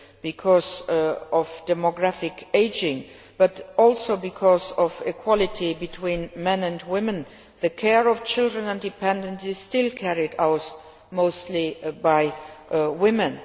because of demographic ageing, but also because of equality between men and women as the care of children and dependants is still carried out mostly by women.